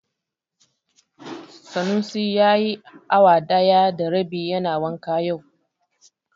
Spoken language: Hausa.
Sanusi yayi awa ɗaya da rabi yana wanka yau.